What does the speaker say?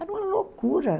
Era uma loucura.